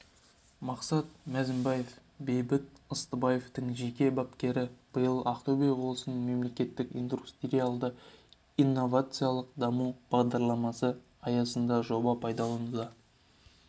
мақсат мәзібаев бейбіт ыстыбаевтың жеке бапкері биыл ақтөбе облысында мемлекеттік индустриялды-инновациялық даму бағдарламасы аясында жоба пайдалануға